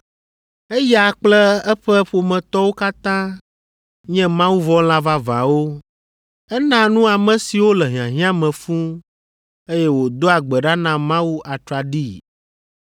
Eya kple eƒe ƒometɔwo katã nye Mawuvɔ̃la vavãwo. Enaa nu ame siwo le hiahiã me fũu, eye wòdoa gbe ɖa na Mawu atraɖii.